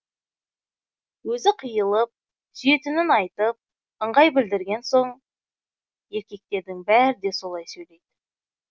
өзі қиылып сүйетінін айтып ыңғай білдірген соң еркектердің бәрі де солай сөйлейді